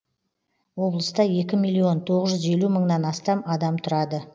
облыста екі миллион тоғыз жүз елу мыңнан астам адам тұрады